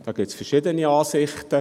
Dazu gibt es verschiedene Ansichten.